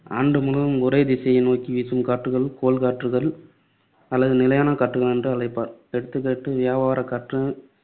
ஆண்டு முழுவதும் ஒரே திசையை நோக்கி வீசும் காற்றுகள் கோள் காற்றுகள் அல்லது நிலையான காற்று என்று அழைப்பார். எடுத்துக்காட்டு வியாபாரக் காற்று,